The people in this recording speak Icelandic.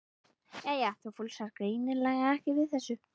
Jæja, þú fúlsar greinilega ekki við þessu.